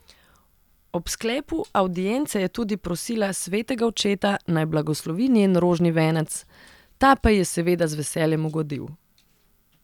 Ob sklepu avdience je tudi prosila svetega očeta, naj blagoslovi njen rožni venec, ta pa ji je seveda z veseljem ugodil.